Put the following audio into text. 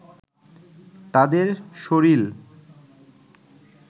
তাদের শরীল